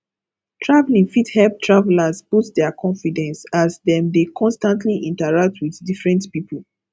traveling fit help tavelers boost their confidence as dem dey constantly interact with different people